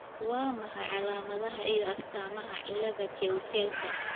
Waa maxay calaamadaha iyo astaamaha cilada Keutelka?